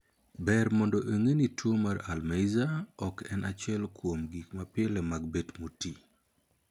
Ber mondo ng'ee ni tuo mar 'Alzheimer' ok en achiel kuom gik mapile mag bet motii.